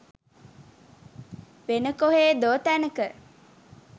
වෙන කොහේදෝ තැනක.